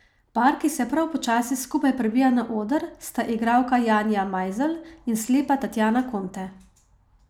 Par, ki se prav počasi skupaj prebija na oder, sta igralka Janja Majzelj in slepa Tatjana Konte.